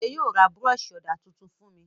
Bọ̀dé yóò ra búrọ́ṣì ọ̀dà tuntun fún mi.